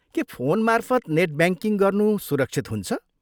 के फोनमार्फत net banking गर्नु सुरक्षित हुन्छ?